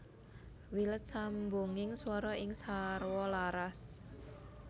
Wilet sambunging swara sing sarwa laras